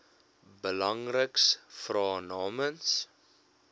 belangriks vra namens